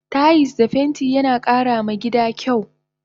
Tayis da fenti yana kara ma gida kyau